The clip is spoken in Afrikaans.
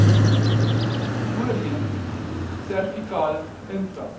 voorheen servikale intra